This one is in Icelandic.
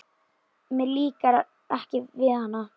Mér líkar ekki við hana.